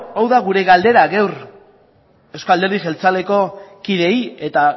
hau da gure galdera gaur euzko alderdi jeltzaleko kideei eta